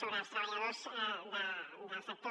sobre els treballadors del sector